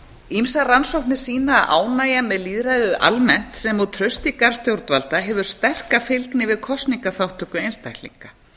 ýmsar rannsóknir sýna að ánægja með lýðræðið almennt sem og traustleika stjórnleika stjórnvalda hefur sterka fylgni við kosningaþátttöku einstaklinga